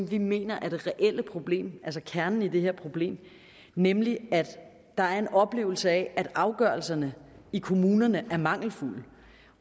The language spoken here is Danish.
vi mener er det reelle problem altså kernen i det her problem nemlig at der er en oplevelse af at afgørelserne i kommunerne er mangelfulde